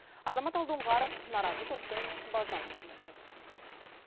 азамат алдоңғаров наразы топтың базынасын тыңдап қайтты